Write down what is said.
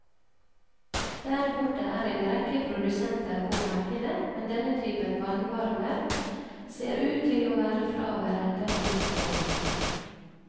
Der borte er en rekke produsenter på markedet, men denne typen vannvarmer ser ut til å være fraværende hos oss.